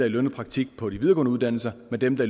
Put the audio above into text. i lønnet praktik på de videregående uddannelser med dem der